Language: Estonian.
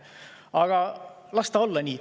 Aga las ta olla nii.